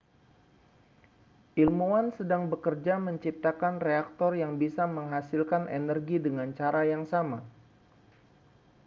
ilmuwan sedang bekerja menciptakan reaktor yang bisa menghasilkan energi dengan cara yang sama